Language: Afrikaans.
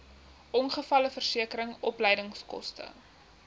ongevalleversekering opleidingskoste